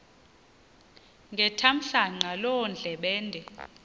ngethamsanqa loo ndlebende